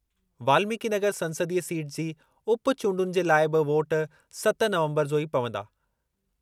वाल्मीकिनगर संसदीय सीट जी उपचूंडुनि जे लाइ बि वोट सत नवंबर जो ई पवंदा।